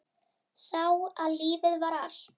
Sá að lífið var allt.